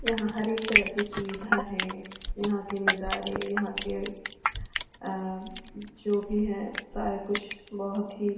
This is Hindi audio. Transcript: यहां हर एक तरह के सुविधा है यहां के नजारे यहां के अ जो भी है सारे कुछ बहुत ही --